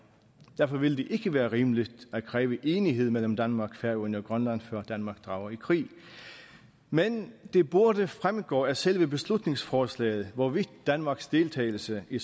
derfor ville det ikke være rimeligt at kræve enighed mellem danmark færøerne og grønland før danmark drager i krig men det burde fremgå af selve beslutningsforslaget hvorvidt danmarks deltagelse i